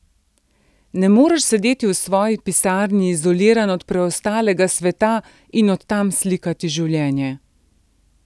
Ne moreš sedeti v svoji pisarni, izoliran od preostalega sveta, in od tam slikati življenje.